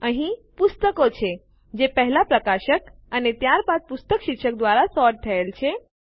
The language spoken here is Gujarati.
અહીં પુસ્તકો છે જે પહેલા પ્રકાશક અને ત્યારબાદ પુસ્તક શીર્ષક દ્વારા સોર્ટ થયેલ છે